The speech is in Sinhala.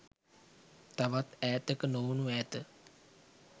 තවත් ඈතක නොවුනු ඇත.